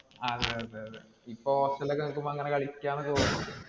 ആ അതെ അതെ അതെ. ഇപ്പൊ hostel ഇൽ ഒക്കെ നില്കുമ്പോ അങ്ങിനെ കളിക്കാം എന്നൊക്കെപ്പറയുമ്പോ.